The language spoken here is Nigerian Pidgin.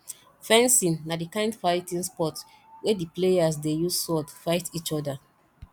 fencing na di kind fighting sport wey di players dey use sword fight each other